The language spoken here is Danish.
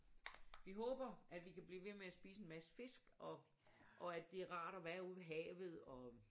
Vi håber at vi kan blive ved med at spise en masse fisk og og at det er rart at være ude ved havet og